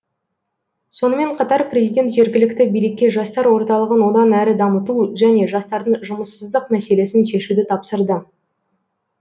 сонымен қатар президент жергілікті билікке жастар орталығын одан әрі дамыту және жастардың жұмыссыздық мәселесін шешуді тапсырды